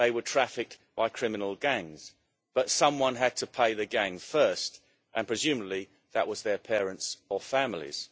They were trafficked by criminal gangs, but someone had to pay the gang first and, presumably, that was their parents or families.